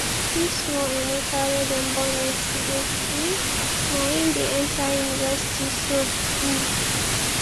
see small emeka wey dem born yesterday um naim dey enta university so um